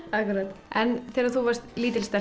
en þegar þú varst lítil stelpa